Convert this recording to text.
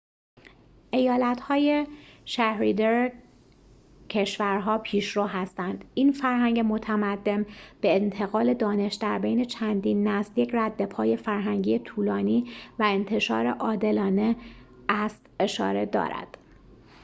ایالت های شهریدر کشور‌ها پیشرو هستند یک فرهنگ متمدن به انتقال دانش در بین چندین نسل یک ردپای فرهنگی طولانی و انتشار عادلانه است اشاره دارد